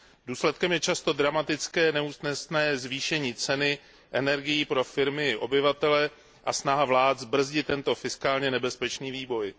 Důsledkem je často dramatické, neúnosné zvýšení ceny energií pro firmy i obyvatele a snaha vlád zbrzdit tento fiskálně nebezpečný vývoj.